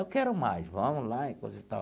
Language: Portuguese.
Eu quero mais, vamos lá, e coisa e tal.